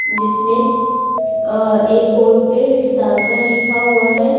जिसमें अ एक बोर्ड पे डाकघर लिखा हुआ है तथा।